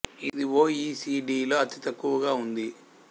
ఇది ఒ ఇ సి డిలో అతి తక్కువగా ఉంది